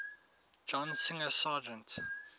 john singer sargent